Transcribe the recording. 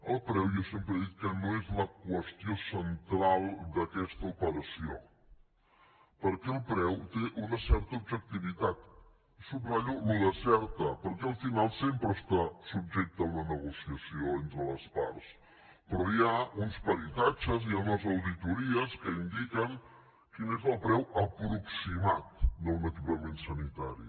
el preu jo sempre he dit que no és la qüestió central d’aquesta operació perquè el preu té una certa objectivitat subratllo allò de certa perquè al final sempre està subjecte a una negociació entre les parts però hi ha uns peritatges hi ha unes auditories que indiquen quin és el preu aproximat d’un equipament sanitari